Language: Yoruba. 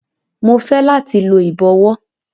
Mo fẹ lati lo ibọwọ